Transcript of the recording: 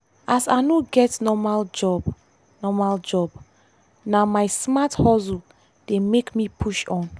as i no get normal job normal job na my smart hustle dey make me push on.